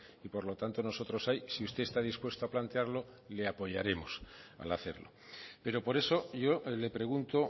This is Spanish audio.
y por lo tanto nosotros hay sí usted está dispuesto a plantearlo le apoyaremos al hacerlo pero por eso yo le pregunto